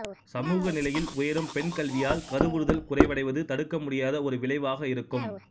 சமூக நிலையில் உயரும் பெண்கல்வியால் கருவுறுதல் குறைவடைவது தடுக்கமுடியாத ஒரு விளைவாக இருக்கும்